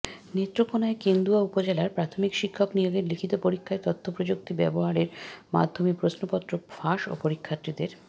নেত্রকোনার কেন্দুয়া উপজেলায় প্রাথমিক শিক্ষক নিয়োগের লিখিত পরীক্ষায় তথ্যপ্রযুক্তি ব্যবহারের মাধ্যমে প্রশ্নপত্র ফাঁস ও পরীক্ষার্থীদের